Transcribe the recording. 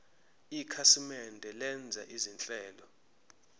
ikhasimende lenza izinhlelo